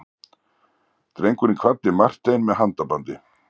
Drengurinn kvaddi Martein með handabandi.